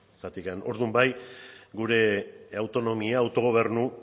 zeren orduan gure autonomia autogobernu